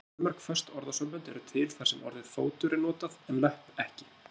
Fjölmörg föst orðasambönd eru til þar sem orðið fótur er notað en löpp ekki.